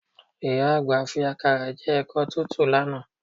Ìyá àgbà fi àkàrà jẹ ẹ̀kọ tútù lánàá